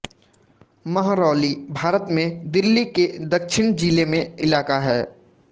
महरौली भारत में दिल्ली के दक्षिण जिले में इलाका है